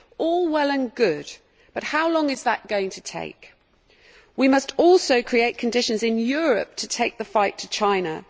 All well and good, but how long is that going to take? We must also create conditions in Europe to take the fight to China.